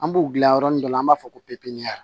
An b'u dilan yɔrɔnin dɔ la an b'a fɔ ko pikiri